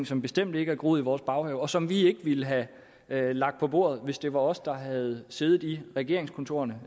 som bestemt ikke er groet i vores baghave og som vi ikke ville have lagt på bordet hvis det var os der havde siddet i regeringskontorerne